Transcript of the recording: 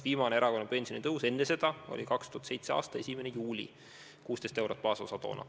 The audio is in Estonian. Viimane erakorraline pensionitõus enne seda oli 2007. aasta 1. juulil, kui baasosasse lisandus 16 eurot.